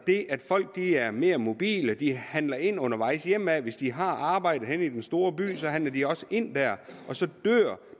det at folk er mere mobile de handler ind undervejs hjemad hvis de har arbejde i den store by handler de også ind der og så dør